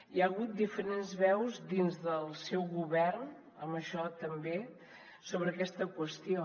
hi ha hagut diferents veus dins del seu govern en això també sobre aquesta qüestió